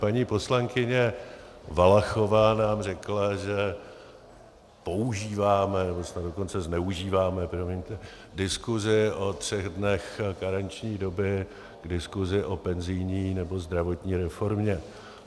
Paní poslankyně Valachová nám řekla, že používáme, nebo snad dokonce zneužíváme, promiňte, diskuzi o třech dnech karenční doby k diskuzi o penzijní nebo zdravotní reformě.